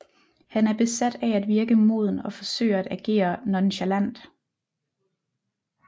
Han er besat af at virke moden og forsøger at agere nonchalant